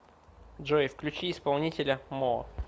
джой включи исполнителя мо